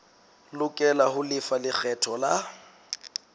lokela ho lefa lekgetho la